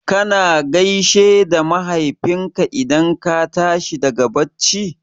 Kana gaishe da Mahaifinka idan ka tashi daga bacci?